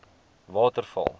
waterval